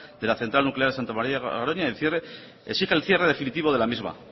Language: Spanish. de la central nuclear santa maría de garoña exige el cierre definitivo de la misma